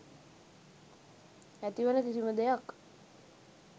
ඇතිවන කිසිම දෙයක්